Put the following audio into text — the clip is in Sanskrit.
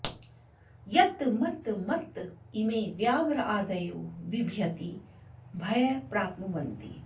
यत् मत् मत्त इमे व्याघ्रादयो बिभ्यति भय प्राप्नुवन्ति